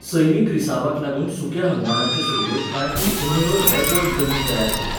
सैमीक रिसावाक लागून सुक्या हंगामाचे सुरवेक कांय उपन्हंयो रेबवट जमीन तयार करतात.